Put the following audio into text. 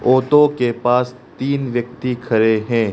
Auto के पास तीन व्यक्ति खड़े हैं।